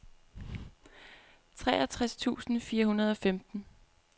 treogtres tusind fire hundrede og femten